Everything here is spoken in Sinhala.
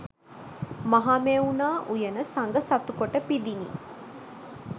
මහමෙවුනා උයන සඟ සතු කොට පිදිණි.